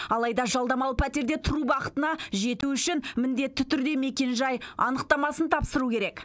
алайда жалдамалы пәтерде тұру бақытына жету үшін міндетті түрде мекенжай анықтамасын тапсыру керек